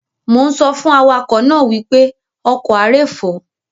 Mo ń sọ fún awakọ̀ náà wípé "ọkọ̀ a ré fò".